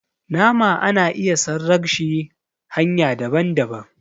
nama ana iya sarrag shi hanya daban - daban